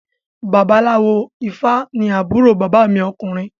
Babaláwo ifá ní àbúrò bàbá mi ọkùnrin